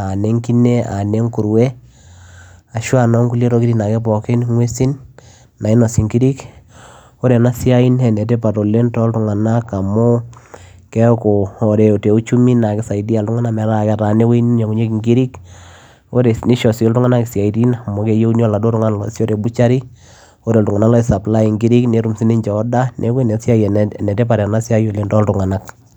aa nenkine, aa nenkurue ashua noonkulie tokiting ake pookin ng'uesin nainosi nkirik. ore ena siai naa enetipat oleng toltung'anak amuu keeku ore te uchumi naa kisaidia iltung'anak metaa ketaana ewueji neinyang'unyeki nkirik ore neisho sii iltung'anak isiaitin amu keyieuni oladu oltung'ani oosisho te butchery ore iltung'anak loi suplly nkiri netum sii ninche order neeku inasiai, enetipat oleng ena siai toltung'anak.